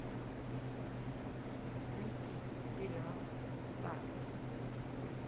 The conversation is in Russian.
найти сериал карпов